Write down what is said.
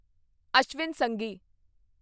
ਅਸ਼ਵਿਨ ਸੰਘੀ